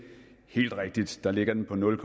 helt rigtigt der ligger den på nul